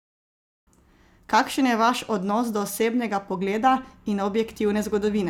Kakšen je vaš odnos do osebnega pogleda in objektivne zgodovine?